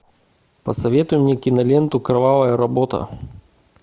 посоветуй мне киноленту кровавая работа